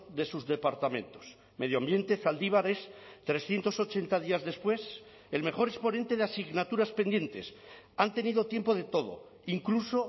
de sus departamentos medioambiente zaldibar es trescientos ochenta días después el mejor exponente de asignaturas pendientes han tenido tiempo de todo incluso